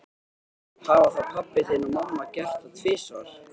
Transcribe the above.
Hafa þá pabbi þinn og mamma gert það tvisvar?